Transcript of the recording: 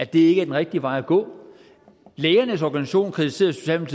det ikke er den rigtige vej at gå lægernes organisation kritiserede